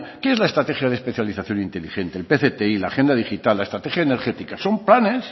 qué es la estrategia de especialización inteligente el pcti la agenda digital la estrategia energética son planes